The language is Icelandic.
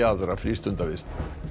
aðra frístundavist